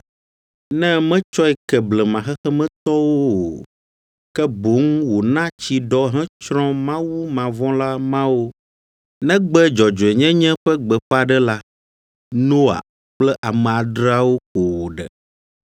ne metsɔe ke blema xexemetɔwo o, ke boŋ wòna tsi ɖɔ hetsrɔ̃ mawumavɔ̃la mawo, negbe dzɔdzɔenyenye ƒe gbeƒãɖela, Noa kple ame adreawo ko wòɖe;